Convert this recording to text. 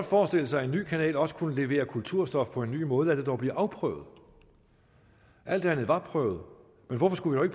forestille sig at en ny kanal også kunne levere kulturstof på en ny måde og lad det dog blive afprøvet alt andet har været prøvet men hvorfor skulle vi